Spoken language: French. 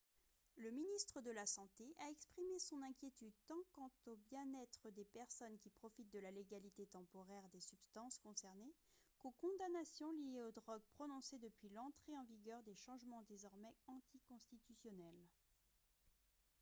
le ministre de la santé a exprimé son inquiétude tant quant au bien-être des personnes qui profitent de la légalité temporaire des substances concernées qu'aux condamnations liées aux drogues prononcées depuis l'entrée en vigueur des changements désormais anticonstitutionnels